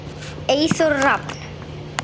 Eyþór Rafn.